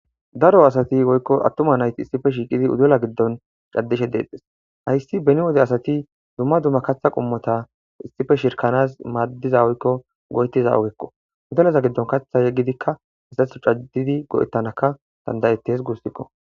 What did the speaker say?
daro asati woykko attuma nayti issife shiiqidi udela giddon caddishe deexxes hayssi beni wode asati dumma dumma kaththa qummota issife shirkanas maaddiza woykko goytiza ugekko udeleza giddon kaththa yeggidikka hesatho caddidi go7ettanaka dandayetes guussikko